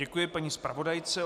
Děkuji paní zpravodajce.